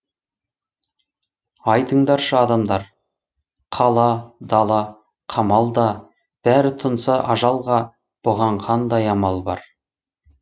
айтыңдаршы адамдар қала дала қамал да бәрі тұнса ажалға бұған қандай амал бар